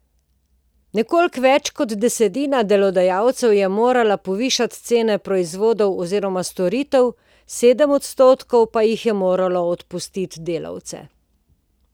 Nekoliko več kot desetina delodajalcev je morala povišati cene proizvodov oziroma storitev, sedem odstotkov pa jih je moralo odpustiti delavce.